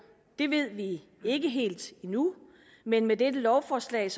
bliver ved vi ikke helt endnu men med dette lovforslag